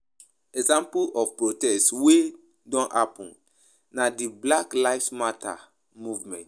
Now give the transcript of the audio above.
Example of protests wey don happen na di Black Lives Matter movement